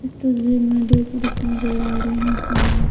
इस तस्वीर में दो पुरुष नजर आ रहे हैं।